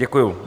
Děkuju.